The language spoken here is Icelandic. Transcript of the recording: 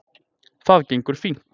Það gengur fínt